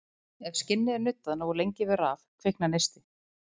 Ef skinni er nuddað nógu lengi við raf kviknar neisti.